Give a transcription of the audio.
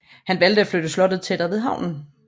Han valgte at flytte slottet tættere ved havnen